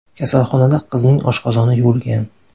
Kasalxonada qizning oshqozoni yuvilgan.